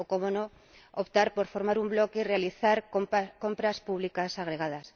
O, cómo no, optar por formar un bloque y realizar compras públicas agregadas.